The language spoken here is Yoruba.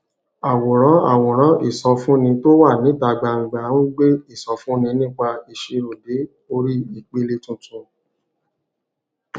àwòrán àwòrán ìsọfúnni tó wà níta gbangba ń gbé ìsọfúnni nípa ìṣirò dé orí ìpele tuntun